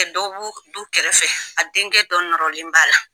dɔ bu du kɛrɛfɛ a denkɛ dɔ nɔrɔlen b'a la.